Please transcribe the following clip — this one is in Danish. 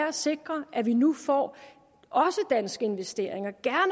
at sikre at vi nu får danske investeringer